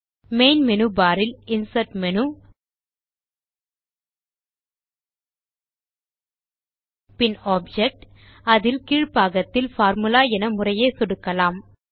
main menu bar இல் insert menu பின் object அதில் கீழ் பாகத்தில் பார்முலா என முறையே சொடுக்கலாம்